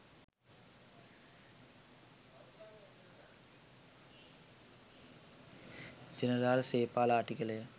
General Sepala Attygalle.